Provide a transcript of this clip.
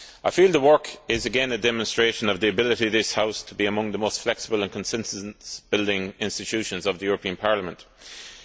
I feel the work is again a demonstration of the ability of this House to be among the most flexible and consensus building institutions of the European Union.